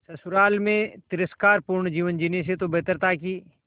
ससुराल में तिरस्कार पूर्ण जीवन जीने से तो बेहतर था कि